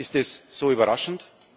ab. Ist das so überraschend?